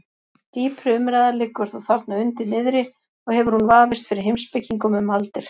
Dýpri umræða liggur þó þarna undir niðri og hefur hún vafist fyrir heimspekingum um aldir.